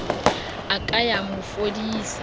a ka ya mo fodisa